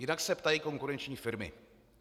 Jinak se ptají konkurenční firmy.